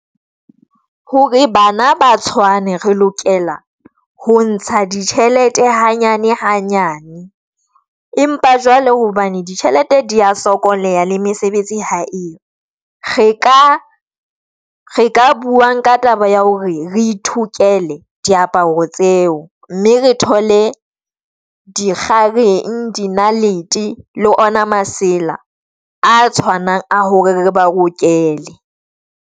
Hore bana ba tshwane re lokela ho ntsha ditjhelete hanyane-hanyane, empa jwale hobane ditjhelete di ya sokoleha le mesebetsi ha eyo, re ka re ka buang ka taba ya hore re ithokela diaparo tseo mme re thole dikgakeng di naledi le ona masela a tshwanang a hore re ba rokele.